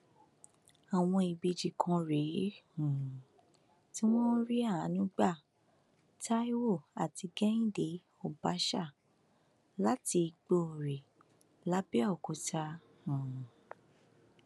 àwọn ìbejì kan rèé um tí wọn rí àánú gba taiwo àti kehinde ọbaṣà láti igbòrè làbẹọkútà um